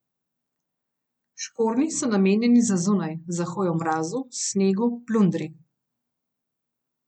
Škornji so namenjeni za zunaj, za hojo v mrazu, snegu, plundri.